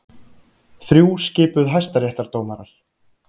Þrjú skipuð hæstaréttardómarar